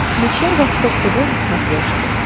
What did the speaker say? включай восток тв на смотрешке